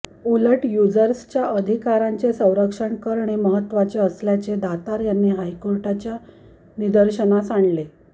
उलट युजर्सच्या अधिकारांचे संरक्षण करणे महत्त्वाचे असल्याचे दातार यांनी हायकोर्टाच्या निदर्शनास आणले